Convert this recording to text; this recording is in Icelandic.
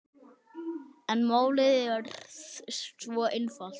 En er málið svo einfalt?